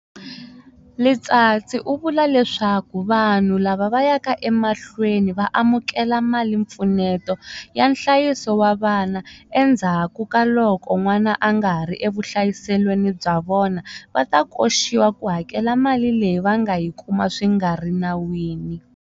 Letsatsi u vula leswaku vanhu lava yaka emahlweni va amukela malimpfuneto ya nhlayiso wa vana endzhakukaloko n'wana a nga ha ri evuhlayiselweni bya vona, va ta koxiwa ku hakela mali leyi va nga yi kuma swi nga ri nawini.